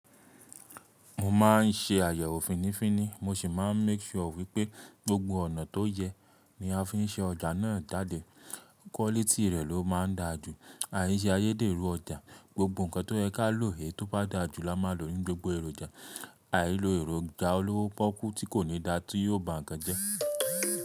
Mo máa ń ṣe àyẹ̀wò fínnífínní, mo sì máa ń make sure wípé gbogbo ọ̀nà tó yẹ ní a fi ń ṣe ọjà náà jáde. Quality rẹ̀ ló máa ń dáa jù. Àì ṣe ayẹ́dèrú ọjà. Gbogbo nǹkan tó yẹ ká lò, èyí tó bá dáa jù la máa lò nínú gbogbo èròjà. Àìlo èròjà olówó pọ́kú tí kò ní dáa tí yóò ba nǹkan jẹ́.